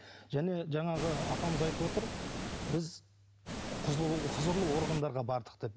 және жаңағы апамыз айтып отыр біз құзырлы органдарға бардық деп